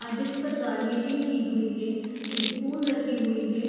अ dish पर garnishing की हुई है स्पून रखी हुई है।